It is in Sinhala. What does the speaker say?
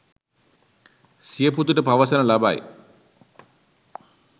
සිය පුතුට පවසනු ලබයි.